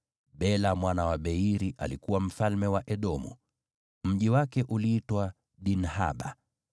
Bela mwana wa Beori alikuwa mfalme wa Edomu. Mji wake uliitwa Dinhaba.